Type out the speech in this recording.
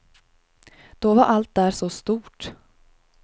Då var allt där så stort.